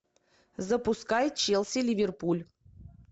запускай челси ливерпуль